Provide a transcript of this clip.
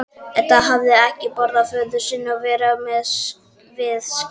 Edda hafði ekki boðið föður sínum að vera við skírnina.